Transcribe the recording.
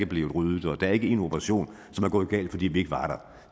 blevet ryddet og der er ikke en operation som er gået galt fordi vi ikke var der